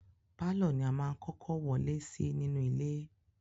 Pàlọ́ ni a máá ń kọ́kọ́ wọlé sí nínú ilé